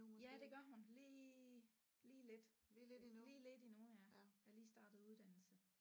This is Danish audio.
Ja det gør hun lige lige lidt lige lidt endnu ja er lige startet uddannelse